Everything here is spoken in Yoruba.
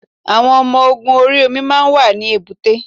Àwọn ọmọ ogun orí omi máa ń wà ní èbúté.